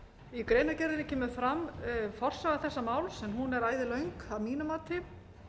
í greinargerðinni kemur fram forsaga þessa máls en hún er æðilöng að mínu mati